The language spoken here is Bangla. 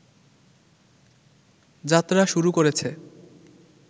যাত্রা শুরু করেছে